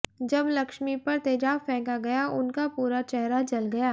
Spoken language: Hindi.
जब लक्ष्मी पर तेजाब फेंका गया उनका पूरा चेहरा जल गया